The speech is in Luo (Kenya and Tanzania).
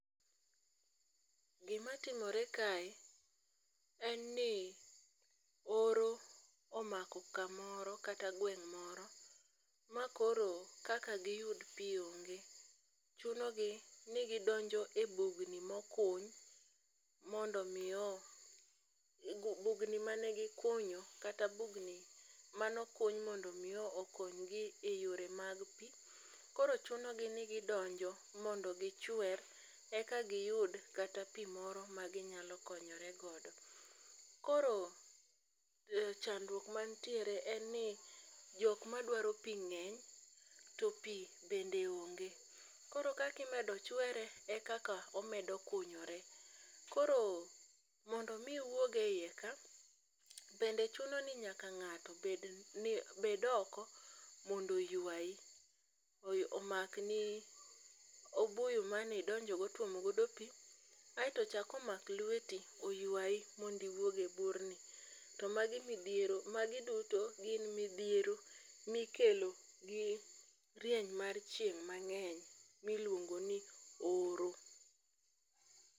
Gima timore kae en ni oro omako kamoro kata gweng' moro ma koro kaka giyud pi onge. Chuno gi ni gidonjo e bugni mokuny mondo mi o bugni mane gikunyo kata bugni mano kuny mondo mi okony gi e yore mag pi. Koro chuno gi ni gidonjo modo gichwer eka giyud kata pi moro ma ginyalo konyore godo. Koro chandruok mantiere en ni jokma dwaro pi ng'eny to pi bende onge. Koro kakimedo chwere e kaka omedo kunyore. Koro mondo mi iwuog e iye ka, bende chuno ni ng'ato bed ni bed oko mondo oywayi. Omak ni obuyu manidonjo go tuomo godo pi, aeto ochak omak lweti mondi wuog e burni. To magi midhiero magi duto gin midhiero mikelo gi rieny mar chieng' mang'eny miluongo ni oro.